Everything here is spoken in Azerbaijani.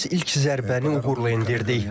Biz ilk zərbəni uğurla endirdik.